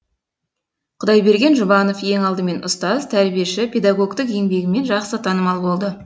құдайберген жұбанов ең алдымен ұстаз тәрбиеші педагогтік еңбегімен жақсы танымал болды